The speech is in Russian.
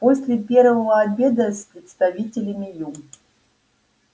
после первого обеда с представителями ю